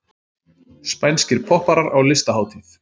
Spænskir popparar á listahátíð